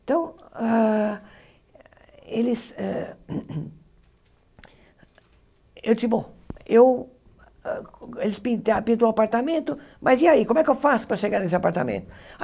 Então, ah eles eu disse, bom, eu eles pinta pintou o apartamento, mas e aí, como é que eu faço para chegar nesse apartamento?